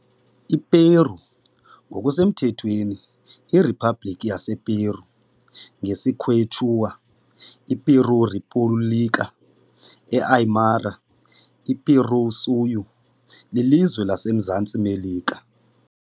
I Peru, ngokusemthethweni iRiphabhlikhi yasePeru ngesiQuechua iPiruw Ripuwlika, e Aymara iPiruw Suyu, lilizwe elikuMzantsi Melika .